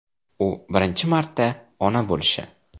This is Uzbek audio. U birinchi marta ona bo‘lishi.